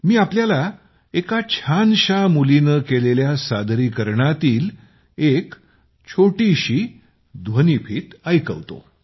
मी आपल्याला एका छानशा मुलीने केलेल्या सादरीकरणातील एक छोटीशी ध्वनीफीत ऐकवतो